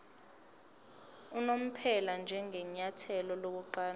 unomphela njengenyathelo lokuqala